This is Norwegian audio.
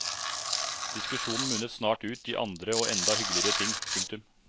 Diskusjonen munnet snart ut i andre og enda hyggeligere ting. punktum